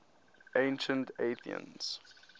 ancient athenians